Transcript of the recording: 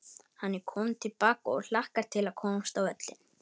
Hann er kominn til baka og hlakkar til að komast á völlinn.